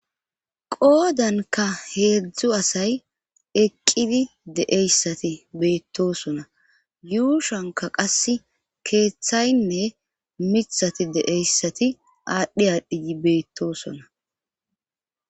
Qoodanka heedzdzu asay eqqidi deeyssati beettosona yuushanka qas keeththaynne mithati deeyssati aadhdhi aadhdhii beettosona.